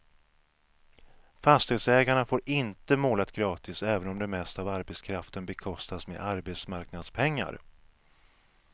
Fastighetsägarna får inte målat gratis, även om det mesta av arbetskraften bekostas med arbetsmarknadspengar.